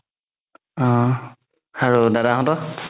অহ আৰু দাদা হাতৰ